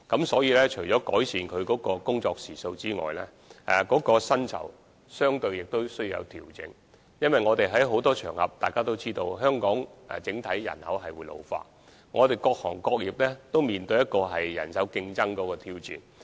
所以，除了改善他們的工作時數外，薪酬亦相對需要作出調整，正如我們在很多場合均已提出，而大家也知道，香港整體人口將會老化，各行各業在人手方面也面對競爭和挑戰。